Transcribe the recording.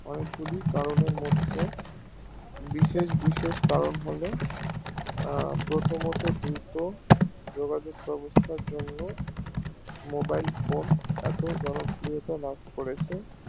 অনেক গুলি কারণের মধ্যে বিশেষ বিশেষ কারণ হলো প্রথমতো দুটো যোগাযোগ ব্যাবস্থার জন্য mobile phone এত জনপ্রিয়তা লাভ করেছে